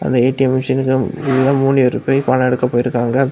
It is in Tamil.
இந்த ஏ_டி_எம் மிஷின்ல உள்ள மூணு பேரு போய் பணம் எடுக்க போயிருக்காங்க.